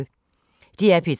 DR P3